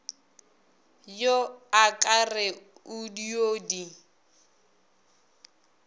yo akere o dio di